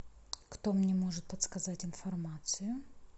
кто мне может подсказать информацию